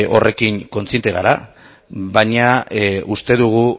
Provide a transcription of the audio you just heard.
horren kontziente gara baina uste dugu